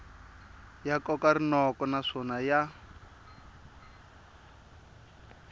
ya koka rinoko naswona ya